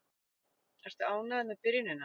Ertu ánægður með byrjunina?